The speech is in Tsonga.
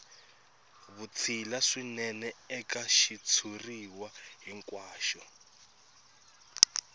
vutshila swinene eka xitshuriwa hinkwaxo